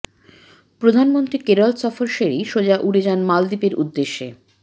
প্রধানমন্ত্রী কেরল সফর সেরেই সোজা উড়ে যান মালদ্বীপের উদ্দেশে